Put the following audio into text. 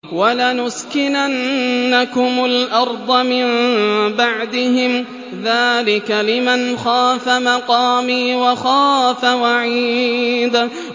وَلَنُسْكِنَنَّكُمُ الْأَرْضَ مِن بَعْدِهِمْ ۚ ذَٰلِكَ لِمَنْ خَافَ مَقَامِي وَخَافَ وَعِيدِ